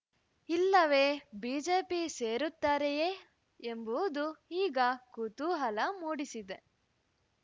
ಇಲ್ಲವೇ ಬಿಜೆಪಿ ಸೇರುತ್ತಾರೆಯೇ ಎಂಬುವುದು ಈಗ ಕುತೂಹಲ ಮೂಡಿಸಿದೆ